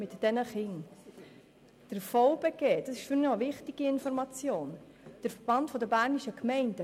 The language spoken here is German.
Der Verband Bernischer Gemeinden (VBG) – dies ist eine wichtige Information – hat gesagt, dies sei ihm recht.